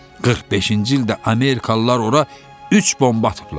45-ci ildə Amerikalılar ora üç bomba atıblar.